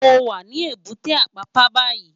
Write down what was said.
Mó wá ni ébùté Ápàpá bàyí